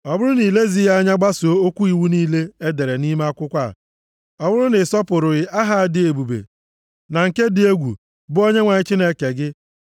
Ọ bụrụ na i lezighị anya gbasoo okwu iwu niile e dere nʼime akwụkwọ a, ọ bụrụ na ị sọpụrụghị aha a dị ebube na nke dị egwu, bụ Onyenwe anyị Chineke gị,